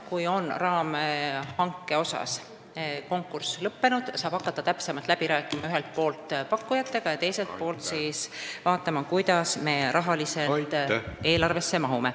Kui raamhanke konkurss on lõppenud, saab ühelt poolt hakata täpsemalt pakkujatega läbi rääkima ja teiselt poolt vaatama, kuidas me eelarvesse mahume.